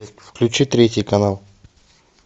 включи третий канал